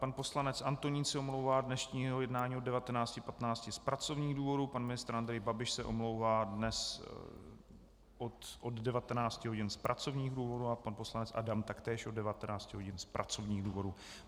Pan poslanec Antonín se omlouvá z dnešního jednání od 19.15 z pracovních důvodů, pan ministr Andrej Babiš se omlouvá dnes od 19 hodin z pracovních důvodů a pan poslanec Adam taktéž od 19 hodin z pracovních důvodů.